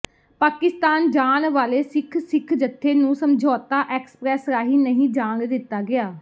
ਪਾਕਿਸਤਾਨ ਜਾਣ ਵਾਲੇ ਸਿੱਖ ਸਿੱਖ ਜੱਥੇ ਨੂੰ ਸਮਝੌਤਾ ਐਕਸਪ੍ਰੈਸ ਰਾਹੀਂ ਨਹੀਂ ਜਾਣ ਦਿੱਤਾ ਗਿਆ